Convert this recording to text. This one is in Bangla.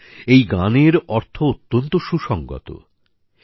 বন্ধুরা এই গানের অর্থ অত্যন্ত সুসংগত